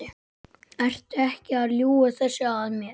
Ertu ekki að ljúga þessu að mér?